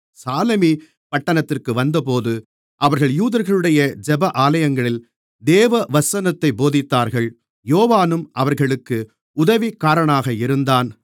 சாலமி பட்டணத்திற்கு வந்தபோது அவர்கள் யூதர்களுடைய ஜெப ஆலயங்களில் தேவவசனத்தைப் போதித்தார்கள் யோவானும் அவர்களுக்கு உதவிக்காரனாக இருந்தான்